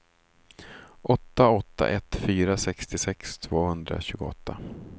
åtta åtta ett fyra sextiosex tvåhundratjugoåtta